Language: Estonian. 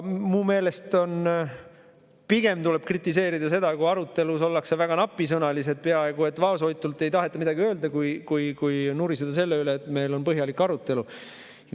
Minu meelest tuleb pigem kritiseerida seda, kui arutelus ollakse väga napisõnalised, peaaegu et vaoshoitud, ei taheta midagi öelda, mitte nuriseda selle üle, et meil on põhjalik arutelu.